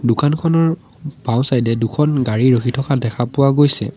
দোকানখনৰ বাওঁচাই ডে দুখন গাড়ী ৰখি থকা দেখা পোৱা গৈছে।